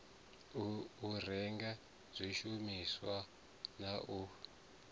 u renge zwishumisa na u